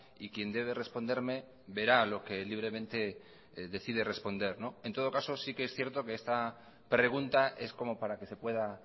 y quien debe responderme verá lo que libremente decide responder en todo caso sí que es cierto que esta pregunta es como para que se pueda